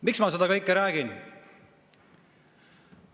Miks ma seda kõike räägin?